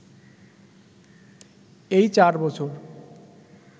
এই চার বছর